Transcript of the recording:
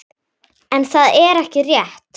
En það er ekki rétt.